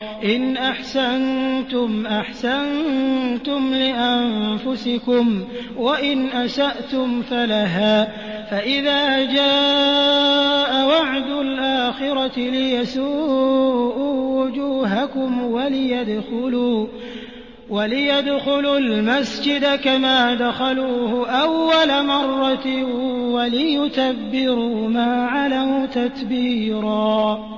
إِنْ أَحْسَنتُمْ أَحْسَنتُمْ لِأَنفُسِكُمْ ۖ وَإِنْ أَسَأْتُمْ فَلَهَا ۚ فَإِذَا جَاءَ وَعْدُ الْآخِرَةِ لِيَسُوءُوا وُجُوهَكُمْ وَلِيَدْخُلُوا الْمَسْجِدَ كَمَا دَخَلُوهُ أَوَّلَ مَرَّةٍ وَلِيُتَبِّرُوا مَا عَلَوْا تَتْبِيرًا